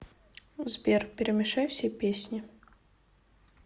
сбер перемешай все песни